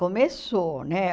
Começou, né?